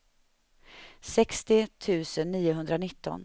sextio tusen niohundranitton